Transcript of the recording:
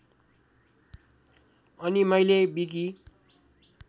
अनि मैले विकि